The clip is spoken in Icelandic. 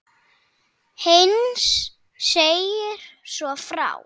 Heinz segir svo frá